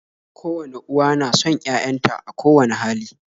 Kowane uwa na son 'ya'yanta a kowani hali